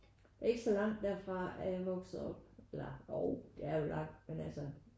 Ikke så langt derfra er jeg vokset op eller jo det er jo langt men altså